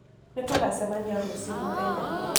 Nĩtũgacemanĩa rũcĩũ mũthenya